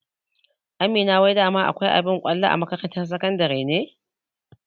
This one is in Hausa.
Amina wai dama akwai abin kwallo a makarantar sakandare ne?